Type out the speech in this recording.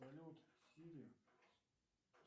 салют сири